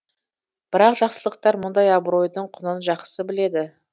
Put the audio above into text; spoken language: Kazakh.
бірақ жақсылықтар мұндай абыройдың құнын жақсы біледі